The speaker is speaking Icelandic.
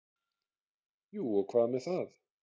Jú og hvað með það!